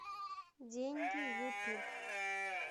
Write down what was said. деньги ютуб